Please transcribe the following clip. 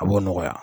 A b'o nɔgɔya